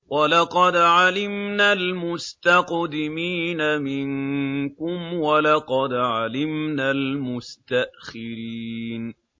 وَلَقَدْ عَلِمْنَا الْمُسْتَقْدِمِينَ مِنكُمْ وَلَقَدْ عَلِمْنَا الْمُسْتَأْخِرِينَ